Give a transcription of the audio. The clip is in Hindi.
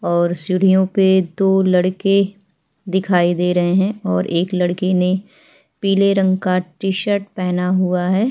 और सीढ़ियों पे दो लड़के दिखाई दे रहे है और एक लड़के ने पीले रंग का टीशर्ट पेहना हुआ है।